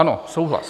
Ano, souhlas.